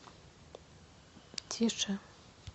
тише